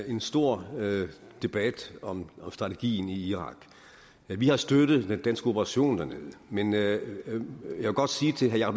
en stor debat om strategien i irak vi har støttet den danske operation dernede men jeg vil godt sige til herre